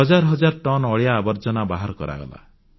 ହଜାର ହଜାର ଟନ୍ ଅଳିଆଆବର୍ଜନା ବାହାର କରାଗଲା